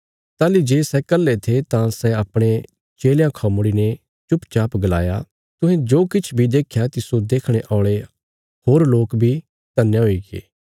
ताहली जे सै कल्हे थे तां सै अपणे चेलयां खां मुड़ीने चुपचाप गलाया तुहें जो किछ बी देख्या तिस्सो देखणे औल़े होर लोक बी धन्या हुईगे